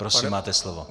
Prosím, máte slovo.